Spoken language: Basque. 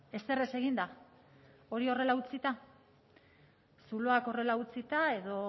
ezer ez eginda hori horrela utzita zuloak horrela utzita edo